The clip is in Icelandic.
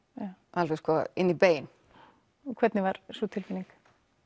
alveg inn í bein og hvernig var sú tilfinning